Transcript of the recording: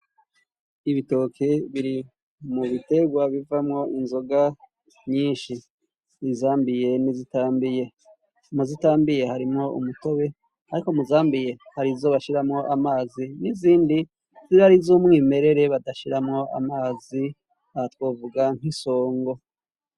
Ibitoke biri mu bitegwa bivamwo inzoga nyinshi, izambiye n'izitambiye. Mu zitambiye harimwo umutobe, ariko muzambiye hari izo bashiramwo amazi n'izindi ziba ari iz'umwimerere badashiramwo amazi aho twovuga nk'isongo.